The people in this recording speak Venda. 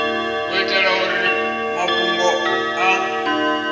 u itela uri mafhungo a